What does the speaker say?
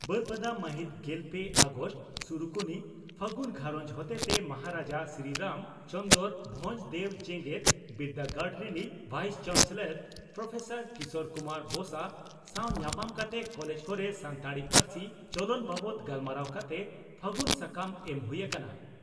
ᱵᱟᱹᱨᱯᱟᱫᱟ ᱢᱟᱹᱦᱤᱛ ᱜᱮᱞ ᱯᱮ ᱟᱜᱚᱥᱴ (ᱥᱩᱨᱩᱠᱩᱱᱤ) ᱺ ᱯᱷᱟᱹᱜᱩᱱ ᱜᱷᱟᱨᱚᱸᱡᱽ ᱦᱚᱛᱮᱛᱮ ᱢᱚᱦᱟᱨᱟᱡᱟ ᱥᱨᱤᱨᱟᱢ ᱪᱚᱱᱫᱽᱨᱚ ᱵᱷᱚᱸᱡᱽ ᱫᱮᱣ ᱡᱮᱜᱮᱛ ᱵᱤᱨᱫᱟᱹᱜᱟᱲ ᱨᱤᱱᱤᱡ ᱵᱷᱟᱭᱤᱥ ᱪᱟᱱᱥᱮᱞᱚᱨ ᱯᱨᱹ ᱠᱤᱥᱚᱨ ᱠᱩᱢᱟᱨ ᱵᱚᱥᱟ ᱥᱟᱣ ᱧᱟᱯᱟᱢ ᱠᱟᱛᱮ ᱠᱚᱞᱮᱡᱽ ᱠᱚᱨᱮ ᱥᱟᱱᱛᱟᱲᱤ ᱯᱟᱨᱥᱤ ᱪᱚᱞᱚᱱ ᱵᱟᱵᱛ ᱜᱟᱞᱢᱟᱨᱟᱣ ᱠᱟᱛᱮ 'ᱯᱷᱟᱹᱜᱩᱱ' ᱥᱟᱠᱟᱢ ᱮᱢ ᱦᱩᱭ ᱟᱠᱟᱱᱟ ᱾